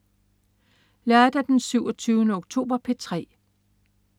Lørdag den 27. oktober - P3: